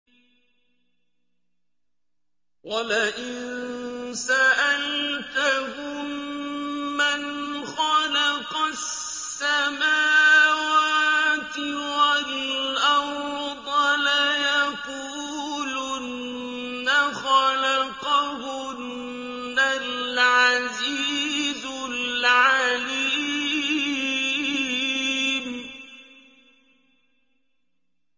وَلَئِن سَأَلْتَهُم مَّنْ خَلَقَ السَّمَاوَاتِ وَالْأَرْضَ لَيَقُولُنَّ خَلَقَهُنَّ الْعَزِيزُ الْعَلِيمُ